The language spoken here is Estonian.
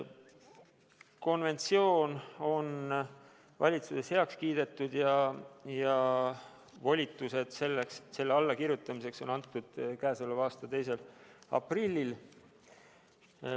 Konventsioon on valitsuses heaks kiidetud ja volitused selle allakirjutamiseks on antud k.a 2. aprillil.